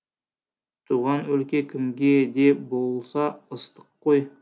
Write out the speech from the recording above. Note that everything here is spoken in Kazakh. туған өлке кімге де болса ыстық қой